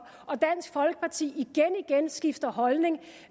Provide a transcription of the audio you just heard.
og dansk folkeparti igen igen skifter holdning